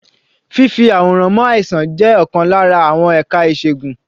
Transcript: Fífì àwòrán mọ àìsàn jẹ́ ọ̀kan lára àwọn ẹ̀ka ìṣègùn.